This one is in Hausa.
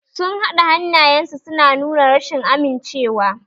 Sun naɗe hannayensu suna nuna rashin amincewa.